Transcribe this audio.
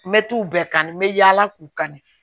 Me t'u bɛɛ kanu me yala k'u kanu